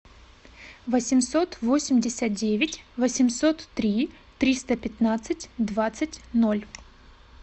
восемьсот восемьдесят девять восемьсот три триста пятнадцать двадцать ноль